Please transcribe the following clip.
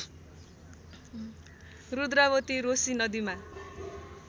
रुद्रावती रोशी नदीमा